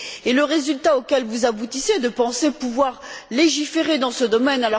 Et le résultat auquel vous aboutissez, c'est de penser pouvoir légiférer dans ce domaine.